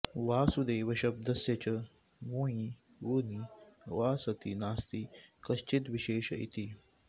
वासुदेवशब्दस्य च वुञि वुनि वा सति नास्ति कश्चिद्विशेष इति